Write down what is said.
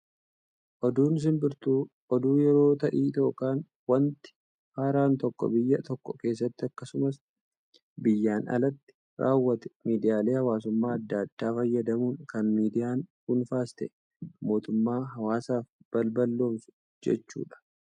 Oduun simbirtuu, oduu yeroo ta'ii yookaan waanti haaraan tokko biyya tokko keessatti akkasumas biyyaan alatti raawwate, miidiyaalee hawaasummaa addaa addaa fayyadamuun kan miidiyaan dhuunfaas ta'ee mootummaa hawaasaaf balballoomsu jechuu ta'a.